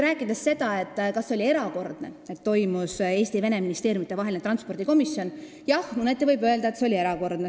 Rääkides sellest, kas see oli erakordne, et toimus Eesti ja Vene ministeeriumide transpordikomisjoni istung, siis jah, mõneti võib öelda, et see oli erakordne.